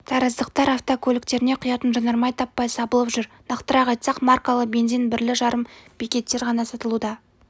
тараздықтар автокөліктеріне құятын жанармай таппай сабылып жүр нақтырақ айтсақ маркалы бензин бірлі жарым бекеттер ғана сатылуда